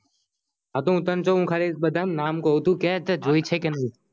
હ તો હું જો તને બધા નામ કાવ તું કે જોઈ છે કે નહિ